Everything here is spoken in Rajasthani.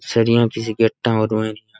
सरिया की सी गेटा --